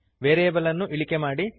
variable ಅನ್ನು ಇಳಿಕೆ ಮಾಡಿರಿ